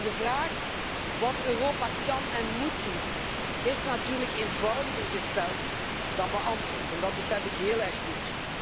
De vraag wat Europa kan en moet doen, is natuurlijk eenvoudiger gesteld dan beantwoord. Dat besef ik heel erg goed.